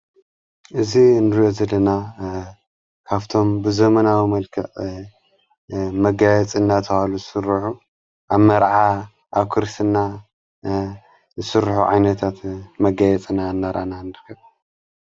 እዚ ን ዘለና ካብቶም ብዘመናዊ መልክዕ መጋየጽ እናተብሃሉ ዝሥርሑ ኣብ መርዓ ኣብ ክርስትና ዝስርሑ ዓይነታት መጋየጽና እነራና እንርከብ።